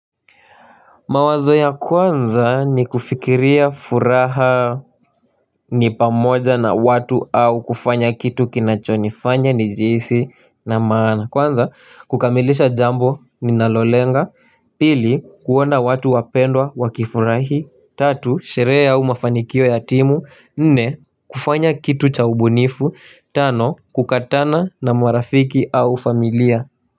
Mawazo ya kwanza ni kufikiria furaha ni pamoja na watu au kufanya kitu kinachonifanya nijihisi na maana. Kwanza kukamilisha jambo ninalolenga, pili kuona watu wapendwa wakifurahi, tatu sherehe au mafanikio ya timu, nne kufanya kitu cha ubunifu, tano kukatana na marafiki au familia.